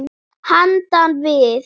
Handan við